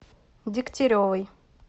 дегтяревой